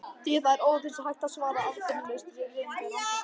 Því er þó aðeins hægt að svara afdráttarlaust eftir viðeigandi rannsóknir.